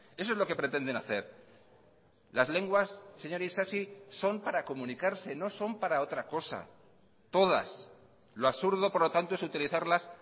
eso es lo que pretenden hacer las lenguas señor isasi son para comunicarse no son para otra cosa todas lo absurdo por lo tanto es utilizarlas